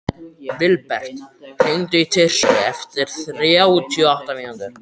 Vilbert, hringdu í Tirsu eftir þrjátíu og átta mínútur.